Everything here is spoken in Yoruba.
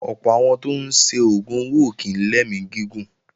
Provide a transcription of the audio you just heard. Ọ̀pọ̀ àwọn tó ń ṣe oògùn owó ò kí ń lẹ́mí gígùn